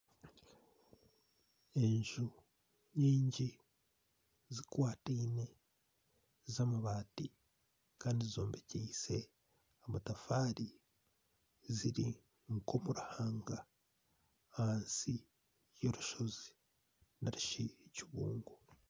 Enju nyingi zikwataine z'amabaati kandi zombekyeise amatafaari ziri nk'omu ruhanga ahansi y'orushozi nari shi ekibungo.